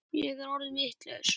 Ég er orðin vitlaus